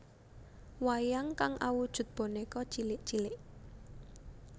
Wayang kang awujud bonèka cilik cilik